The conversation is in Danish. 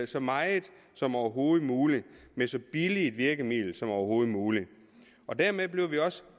så meget som overhovedet muligt med så billige virkemidler som overhovedet muligt dermed bliver vi også